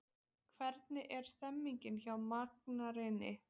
Hvernig er stemningin hjá Markaregni?